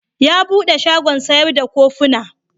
Ya bude shagon sayar da kufuna.